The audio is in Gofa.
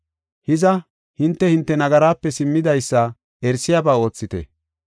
Hiza, hinte, hinte nagaraape simmidaysa erisiyaba oothite.